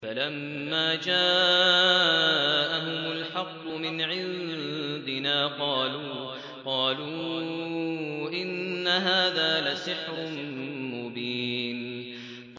فَلَمَّا جَاءَهُمُ الْحَقُّ مِنْ عِندِنَا قَالُوا إِنَّ هَٰذَا لَسِحْرٌ مُّبِينٌ